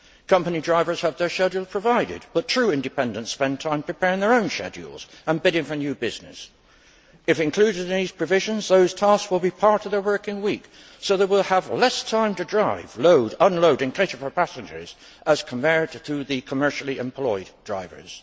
Company drivers have their schedule provided, but true independents spend time preparing their own schedules and bidding for new business. If included in these provisions, those tasks will be part of their working week so they will have less time to drive, load, unload and cater for passengers, as compared to the commercially employed drivers.